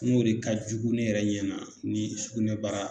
N'o de ka jugu ne yɛrɛ ɲɛna ni sugunɛbara